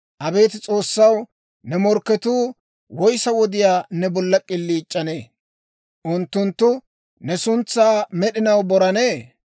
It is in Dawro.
Abeet S'oossaw, ne morkketuu, woyissa wodiyaa ne bolla k'iliic'anee? Unttunttu ne suntsaa med'inaw borannee?